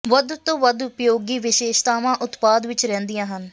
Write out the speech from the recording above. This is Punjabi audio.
ਵੱਧ ਤੋਂ ਵੱਧ ਉਪਯੋਗੀ ਵਿਸ਼ੇਸ਼ਤਾਵਾਂ ਉਤਪਾਦ ਵਿੱਚ ਰਹਿੰਦੀਆਂ ਹਨ